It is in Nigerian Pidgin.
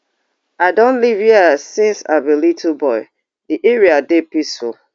i don live hia since i be little boy di area dey peaceful